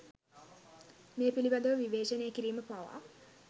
මේ පිළිබඳ ව විවේචනය කිරීම පවා